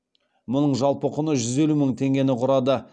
мұның жалпы құны жүз елу мың теңгені құрады